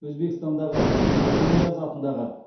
өзбекстандағы ажинияз атындағы